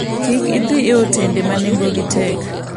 Kik idhi e otende ma nengogi tek.